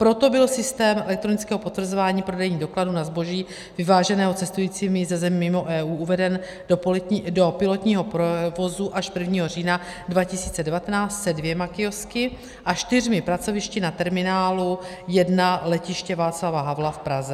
Proto byl systém elektronického potvrzování prodejních dokladů na zboží vyváženého cestujícími ze zemí mimo EU uveden do pilotního provozu až 1. října 2019 se dvěma kiosky a čtyřmi pracovišti na terminálu 1 Letiště Václava Havla v Praze.